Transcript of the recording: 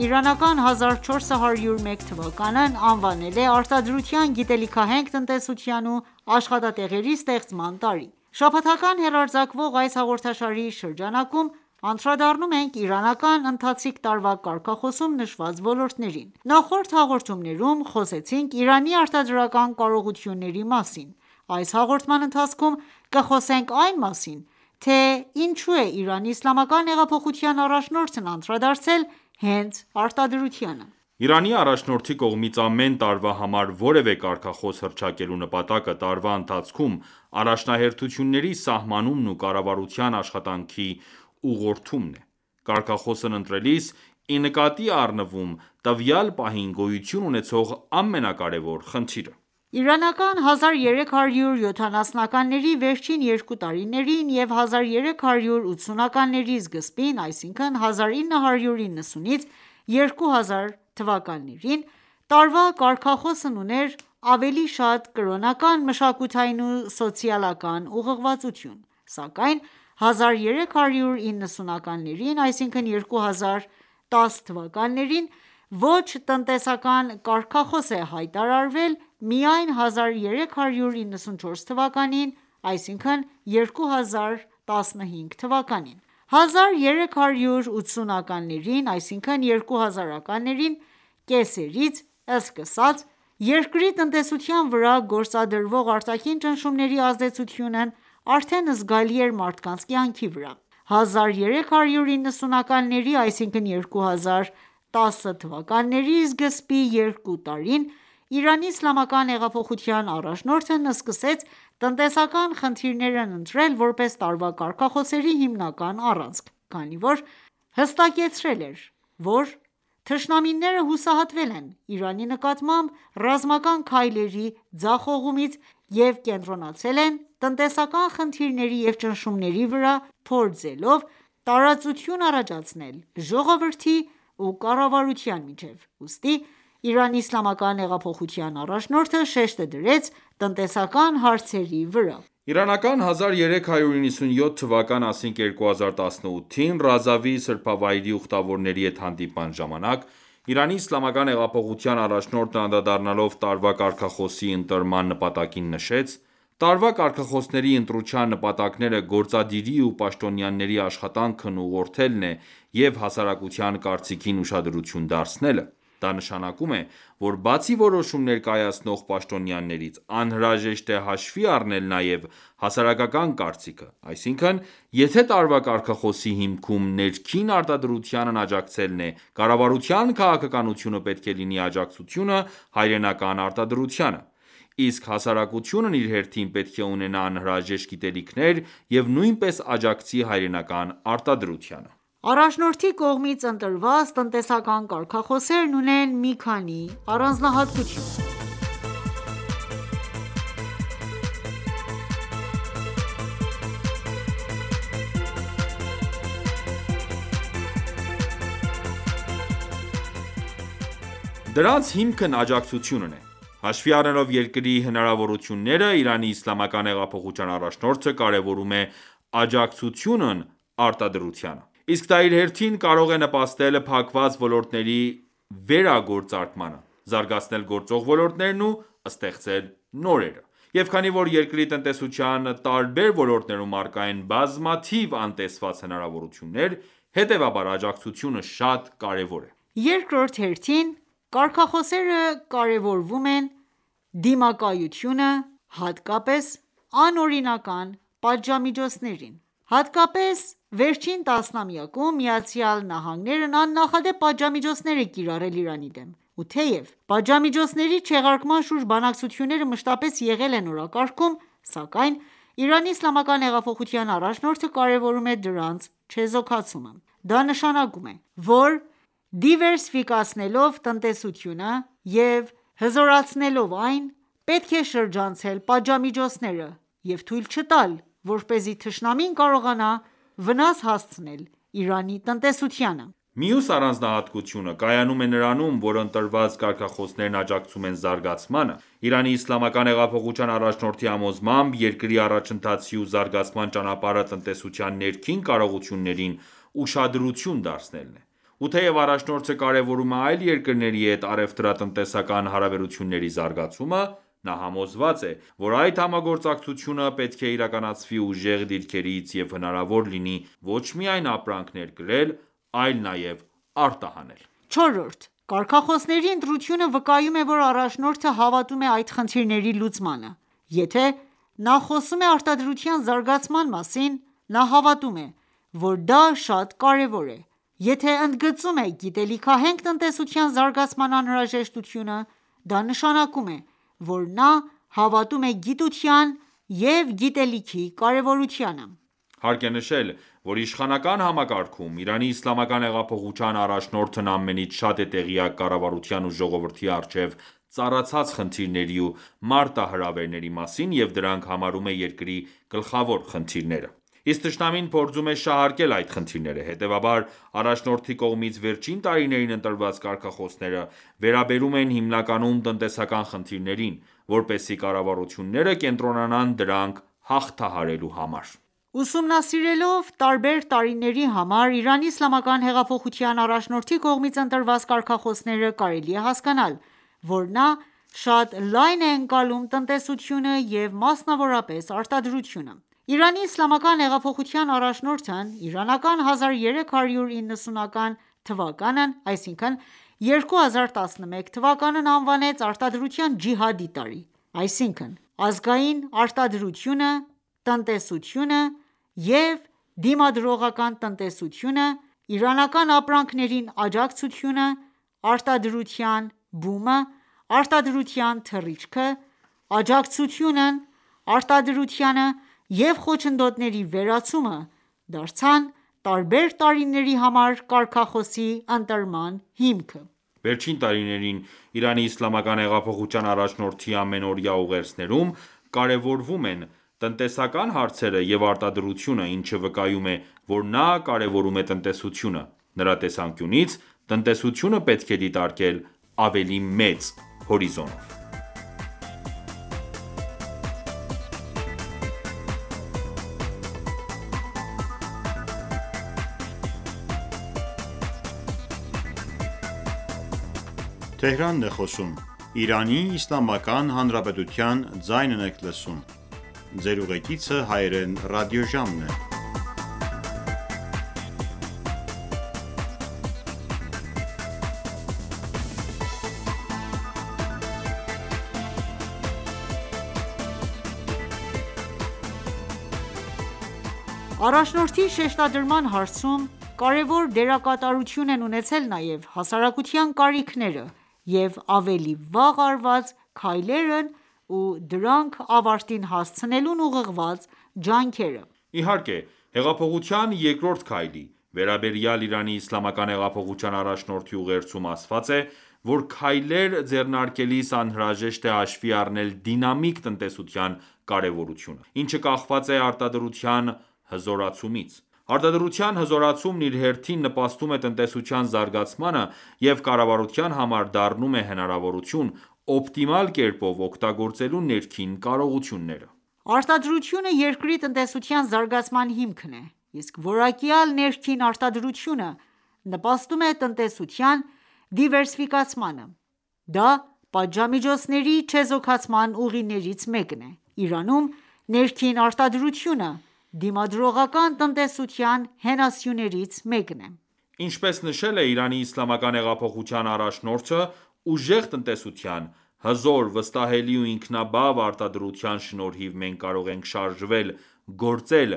իրանական 1401 թվականն անվանել է «Արտադրության, գիտելիքահենք տնտեսության ու աշխատատեղերի ստեղծման տարի»:Շաբաթական հեռարձակվող այս հաղորդաշարի շրջանակում անդրադառնում ենք իրանական ընթացիկ տարվա կարգախոսում նշված ոլորտներին: Նախորդ հաղորդումներում խոսեցինք Իրանի արտադրական կարողությունների մասին: Այս հաղորդման ընթացքում կխոսենք այն մասին, թե ինչո՞ւ է ԻԻՀ առաջնորդն անդրադարձել հենց արտադրությանը: Իրանի առաջնորդի կողմից ամեն տարվա համար որևէ կարգախոս հռչակելու նպատակը տարվա ընթացքում առաջնահերթությունների սահմանումն ու կառավարության աշխատանքի ուղղորդումն է: Կարգախոսն ընտրելիս, ի նկատի է առնվում տվյալ պահին գոյություն ուենցող ամենակարևոր խնդիրը: Իրանական 1370-ականների վերջին երկու տարիներին և 1380-ականների սկզբին (1990-2000-ականներ) տարվա կարգախոսն ուներ ավելի շատ կրոնական, մշակութային ու սոցիալական ուղղվածություն: Սակայն 1390-ականներին (2010-ականներ) ոչ տնտեսական կարգախոս է հայտարարվել միայն 1394 թվականին (2015թ.): 1380-ականների (2000-ականներ) կեսերից սկսած, երկրի տնտեսության վրա գործադրվող արտաքին ճնշումների ազդեցությունն արդեն զգալի էր մարդկանց կյանքի վրա: 1390-ականների (2010-ականներ) սկզբի երկու տարին ԻԻՀ առաջնորդը սկսեց տնտեսական խնդիրներն ընտրել որպես տարվա կարգախոսների հիմնական առանցք, քանի որ հասկացել էր, որ թշնամիները հուսահատվել են Իրանի նկատմամբ ռազմական քայլերի ձախողումից և կենտրոնացել են տնտեսական խնդիրների և ճնշումների վրա, փորձելով տարածություն առաջացնել ժողովրդի ու կառավարության միջև: Ուստի ԻԻՀ առաջնորդը շեշտը դրեց տնտեսական հարեցրի վրա: Իրանական 1397թ /2018/ Ռազավի սրբավայրի ուխտավորների հետ հանդիպման ժամանակ, ԻԻՀ առաջնորդն անդրադառնալով տարվա կարգախոսի ընտրման նպատակին, նշեց. «Տարվա կարգախոսների ընտրության նպատակները գործադիրի ու պաշտոնայների աշխատանքն ուղղորդելն է և հասարակության կարծիքին ուշադրություն դարձնելը»: Դա նշանակում է, որ բացի որոշումներ կայացնող պաշտոնյաներից, անհրաժեշտ է հաշվի առնել նաև հասարակական կարծիքը: Այսինքն՝ եթե տարվա կարգախոսի հիքմում ներքին արտադրությանն աջակցելն է, կառավարության քաղաքականությունը պետք է լինի աջակցությունը հայրենական արտադրությանը: Իսկ հասարակությունն իր հերթին պետք է ու ունենա անհրաժեշտ գիտելիքներ և նույնպես աջակցի հայրենական արտադրությանը: Առաջնորդի կողմից ընտրված տնտեսական կարգախոսներն ունեն մի քանի առանձնահատկություն: Դրանց հիմքն աջակցությունն է: Հաշվի առնելով երկրի հնարավորությունները, ԻԻՀ առաջնորդը կարևորում է աջակցությունն արտադրությանը: Իսկ դա իր հերթին կարող է նպաստել փակված ոլորտների վերագործարկմանը, զարգացնել գործող ոլորտներն ու ստեղծել նորերը: Եվ քանի որ երկրի տնտեսության տարբեր ոլորտներում առկա են բազմաթիվ անտեսված հնարավորություններ, հետևաբար աջակցությունը շատ կարևոր է: Երկրորդ հերթին՝ կարգախոսները կարևորում են դիմակայությունը, հատկապես անօրինական պատժամիջոցներին: Հատկապես վերջին տասնամյակում, ԱՄՆ-ն աննախադեպ պատժամիոջցներ է կիրառել Իրանի դեմ: Ու թեև պատժամիջոցների չեղարկման շուրջ բանակցությունները մշտապես եղել են օրակարգում, սակայն ԻԻՀ առաջնորդը կարևորում է դրանց չեզոքացումը: Դա նշանակում է, որ դիվերսիֆիկացնելով տնտեսությունը և հոզորացնելով այն, պետք է շրջանցել պատժամիջոցները և թույլ չտալ, որպեսզի թշնամին կարողանա վնաս հասցնել Իրանի տնտեսությանը: Մյուս առանձնահատկությունը կայանում է նրանում, որ ընտրված կարգախոսներն աջակցում են զարգացմանը: ԻԻՀ առաջնորդի համոզմամբ, երկրի առաջընթացի ու զարգացման ճանապարհը տնտեսության ներքին կարողություններին ուշադրություն դարձնելն է։ Ու թեև առաջնորդը կարևորում է այլ երկրների հետ առևտրատնտեսական հարաբերությունների զարգացումը, նա համոզված է, որ այդ համագործակցությունը պետք է իրականացվի ուժեղ դիրքերից և հնարավոր լինի ոչ միայն ապրանք ներկրել այլ նաև արտահանել։ Չորրորդ՝ կարգախոսների ընտրությունը վկայում է, որ առաջնորդը հավատում է այդ խնդիրների լուծմանը: Եթե նա խոսում է արտադրության զարգացման մասին, նա հավատում է, որ դա շատ կարևոր է: Եթե ընդգծում է գիտելիքահենք տնտեսության զարգացման անհրաժեշտությունը, դա նշանակում է, որ նա հավատում է գիտության և գիտելիքի կարևորությանը: Հարկ է նշել, որ իշխանական համակարգում ԻԻՀ առաջնորդն ամենից շատ է տեղյակ կառավարության ու ժողովրդի առջև ծառացած խնդիրների ու մարտահրավերների մասին և դրանք համարում է երկրի գլխավոր խնդիրները: Իսկ թշնամին փորձում է շահարկել այդ խնդիրները: Հետևաբար, առաջնորդի կողմից վերջին տարիներին ընտրված կարգախոսները վերաբերում են հիմնականում տնտեսական խնդիրներին, որպեսզի կառավարությունները կենտրոնանան դրանք հաղթահարելու վրա: Ուսումնասիրելով տարբեր տարիների համար ԻԻՀ առաջնորդի կողմից ընտրված կարգախոսները, կարելի է հասկանալ, որ նա շատ լայն է ընկալում տնտեսությունը և մասնավորապես՝ արտադրությունը: ԻԻՀ առաջնորդն իրանական 1390 թվականն (2011թ.) անվանեց «Արտադրության ջիհադի» տարի, և ազգային արտադրությունը, տնտեսությունը և դիմադրողական տնտեսությունը, իրանական ապրանքներին աջակցությունը, արտադրության բումը, արտադրության թռիչքը, աջակցությունն արտադրությանը և խոչընդոտների վերացումը դարձան տարբեր տարիների համար կարգախոսի ընտրման հիմք: Վերջին տարիներին ԻԻՀ առաջնորդի ամանորյա ուղերձներում կարևորվում են տնտեսական հարցերը և արտադրությունը, ինչը վկայում է, որ նա կարևորում է տնտեսությունը: Նրա տեսանկյունից, տնտեսությունը պետք է դիտարկել ավելի մեծ հորիզոնով: Առաջնորդի շեշտադրման հարցում կարոր դերակատարություն են ունեցել նաև հասարակության կարիքները և ավելի վաղ արված քայլերն ու դրանք ավարտին հասցնելուն ուղղված ջանքերը: Իհարկե, «Հեղափոխության երկրորդ քայլի» վերաբերյալ ԻԻՀ առաջնորդի ուղերձում ասված է, որ քայլեր ձեռնարկելիս անհրաժեշտ է հաշվի առնել դինամիկ տնտեսության կարևորությունը, ինչը կախված է արտադրության հզորացումից: Արտադրության հզորացումն իր հերթին նպաստում է տնտեսության զարգացմանը և կառավարության համար դառնում է հնարավորություն՝ օպտիմալ կերպով օգտագործելու ներքին կարողությունները: Արտադրությունը երկրի տնտեսության զարգացման հիմքն է, իսկ «որակյալ ներքին արտադրությունը» նպաստում է տնտեսության դիվերսիֆիկացմանը: Դա պատժամիջոցների չեզոքացման ուղիներից մեկն է: Իրանում ներքին արտադրությունը դիմադրողական տնտեսության հենասյուներից մեկն է: Ինչպես նշել է ԻԻՀ առաջնորդը «Ուժեղ տնտեսության, հզոր, վստահելի ու ինքնաբավ արտադրության շնորհիվ մենք կարող ենք շարժվել, գործել,